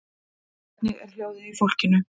Hvernig er hljóðið í fólkinu?